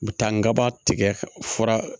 U bɛ taa n kabaa tigɛ fura